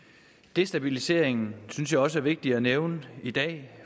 destabiliseringen synes jeg også er vigtig at nævne i dag